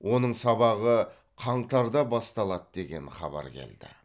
оның сабағы қаңтарда басталады деген хабар келді